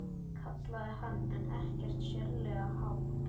kallaði hann en ekkert sérlega hátt.